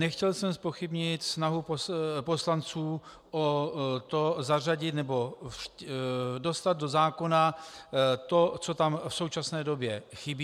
Nechtěl jsem zpochybnit snahu poslanců o to zařadit nebo dostat do zákona to, co tam v současné době chybí.